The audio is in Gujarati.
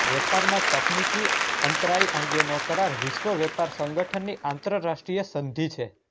વેપારમાં તકનિકી અંતરાય અંગેનો કરાર વિશ્વ વેપાર સંગઠનની આંતરરાષ્ટ્રીય સંધિ છે